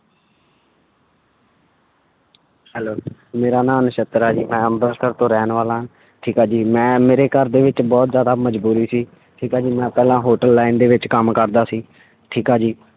Hello ਮੇਰਾ ਨਾਂ ਨਛੱਤਰ ਹੈ ਜੀ ਮੈਂ ਅੰਬਰਸਰ ਤੋਂ ਰਹਿਣ ਵਾਲਾ ਹਾਂ ਠੀਕ ਆ ਜੀ ਮੈਂ ਮੇਰੇ ਘਰਦੇ ਵਿੱਚ ਬਹੁਤ ਜ਼ਿਆਦਾ ਮਜ਼ਬੂਰੀ ਸੀ ਠੀਕ ਹੈ ਜੀ ਮੈਂ ਪਹਿਲਾਂ hotel line ਦੇ ਵਿੱਚ ਕੰਮ ਕਰਦਾ ਸੀ ਠੀਕ ਆ ਜੀ।